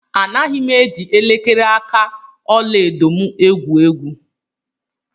Anaghị m eji elekere aka ọla edo m egwu egwu.